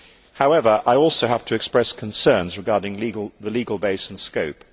However, I also have to express concerns regarding the legal base and scope.